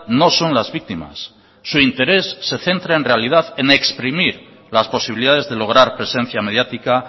no son las víctimas su interés se centra en realidad en exprimir las posibilidades de lograr presencia mediática